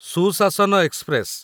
ସୁଶାସନ ଏକ୍ସପ୍ରେସ